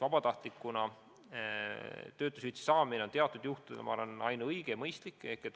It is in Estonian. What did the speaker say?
Vabatahtlikul lahkumisel töötuskindlustushüvitise saamine on teatud juhtudel minu arvates ainuõige ja mõistlik.